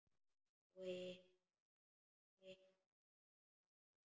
Svo hitaði hún kakó.